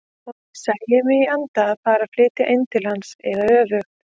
Og ég sæi mig í anda fara að flytja inn til hans eða öfugt.